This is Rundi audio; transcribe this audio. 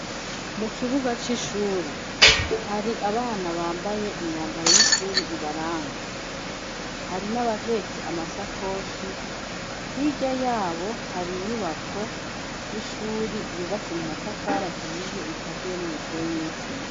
Mu kibuga c'ishuri hari abana bambaye imyambaro y'ishuri ibaranga hari n'abahetse amasakoshi hirya yabo hari inyubako y'ishuri yubatse mu matafara hiye ikaziye n'umusenyi n'isima.